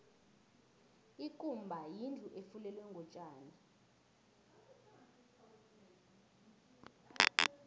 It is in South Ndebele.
ikumba yindlu efulelwe ngotjani